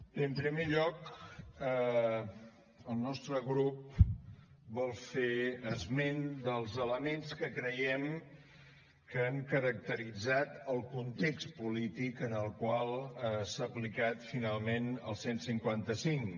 bé en primer lloc el nostre grup vol fer esment dels elements que creiem que han caracteritzat el context polític en el qual s’ha aplicat finalment el cent i cinquanta cinc